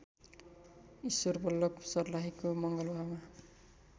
ईश्वरबल्लभ सर्लाहीको मलङ्गवामा